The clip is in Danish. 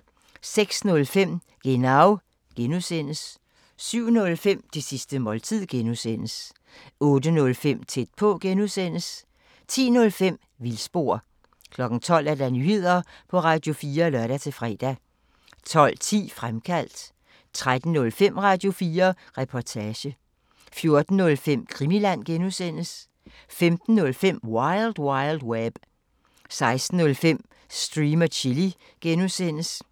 06:05: Genau (G) 07:05: Det sidste måltid (G) 08:05: Tæt på (G) 10:05: Vildspor 12:00: Nyheder på Radio4 (lør-fre) 12:10: Fremkaldt 13:05: Radio4 Reportage 14:05: Krimiland (G) 15:05: Wild Wild Web 16:05: Stream & Chill (G)